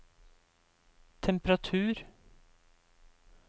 temperatur